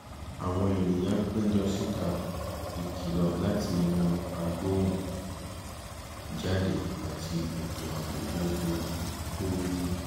àwọn ènìyàn péjọ síta ìkìlọ̀ láti inú agbóhùn-jáde àti ètò ààbò tó rújú